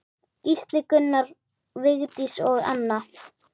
Gísli, Gunnar, Vigdís og Anna.